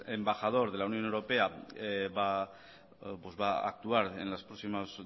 el embajador de la unión europea va a actuar en los próximos